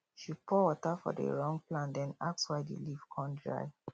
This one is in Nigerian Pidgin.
she pour water for the wrong plant then ask why the leaf come dry